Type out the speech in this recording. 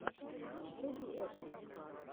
вруби экшн